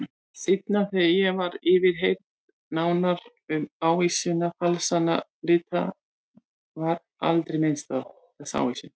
Seinna þegar ég var yfirheyrð nánar um ávísanafalsanirnar var aldrei minnst á þessa ávísun.